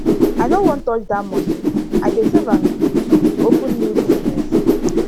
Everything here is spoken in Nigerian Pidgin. i no wan touch dat money i dey save am dey save am to open new business